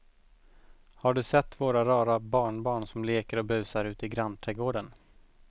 Har du sett våra rara barnbarn som leker och busar ute i grannträdgården!